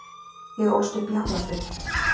Ég ólst upp í Hafnarfirði.